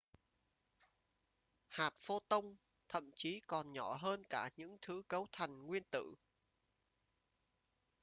hạt pho-ton thậm chí còn nhỏ hơn cả những thứ cấu thành nguyên tử